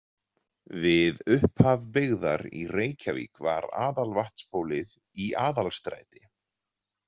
Við upphaf byggðar í Reykjavík var aðalvatnsbólið í Aðalstræti.